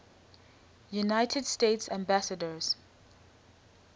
united states ambassadors